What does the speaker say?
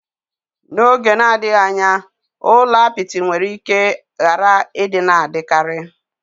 N'oge na-adịghị anya, ụlọ apịtị nwere ike ghara ịdị na-adịkarị.